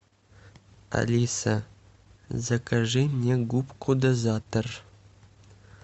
алиса закажи мне губку дозатор